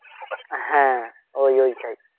হ্যাঁ ওই ঐটাই